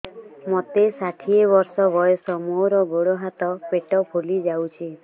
ମୋତେ ଷାଠିଏ ବର୍ଷ ବୟସ ମୋର ଗୋଡୋ ହାତ ପେଟ ଫୁଲି ଯାଉଛି